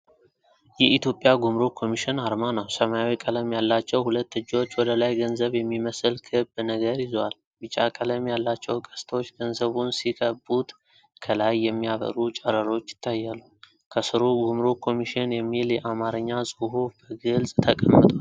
የኢትዮጵያ ጉምሩክ ኮሚሽን አርማ ነው። ሰማያዊ ቀለም ያላቸው ሁለት እጆች ወደ ላይ ገንዘብ የሚመስል ክብ ነገር ይዘዋል። ቢጫ ቀለም ያላቸው ቀስቶች ገንዘቡን ሲከቡት፣ ከላይ የሚያበሩ ጨረሮች ይታያሉ። ከሥሩ "ጉምሩክ ኮሚሽን" የሚል የአማርኛ ጽሑፍ በግልጽ ተቀምጧል።